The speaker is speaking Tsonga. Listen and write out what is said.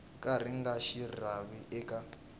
ka ri nga rivariwi eka